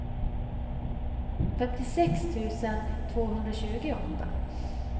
femtiosex tusen tvåhundratjugoåtta